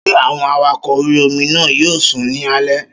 Ṣé àwọn awakọ̀ orí-omi náà yóò sùn ní alẹ́?